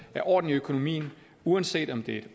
er orden i økonomien uanset om det